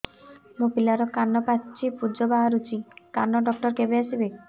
ମୋ ପିଲାର କାନ ପାଚି ପୂଜ ବାହାରୁଚି କାନ ଡକ୍ଟର କେବେ ଆସିବେ